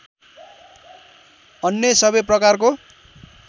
अन्य सबै प्रकारको